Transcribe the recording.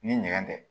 Ni nɛgɛn tɛ